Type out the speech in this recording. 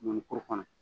Mɔnikuru kɔnɔ